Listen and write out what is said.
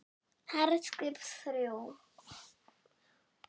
HERSKIP ÞRJÚ